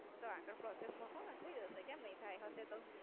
તો આગળ Process મુકો એટલે જ હશે કે નઈ થાય હશે તો?